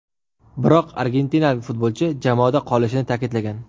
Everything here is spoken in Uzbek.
Biroq argentinalik futbolchi jamoada qolishini ta’kidlagan.